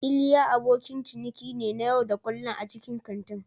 Iliya abokin ciniki ne na yau da kullun a cikin kantin.